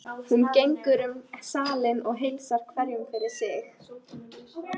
Hún gengur um salinn og heilsar hverjum fyrir sig.